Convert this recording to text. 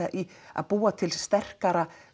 að búa til sterkara